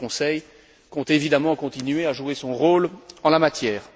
Le Conseil compte évidemment continuer à jouer son rôle en la matière.